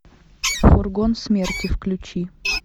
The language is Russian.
фургон смерти включи